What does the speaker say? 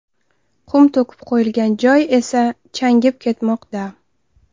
Qum to‘kib qo‘yilgan joy esa changib ketmoqda.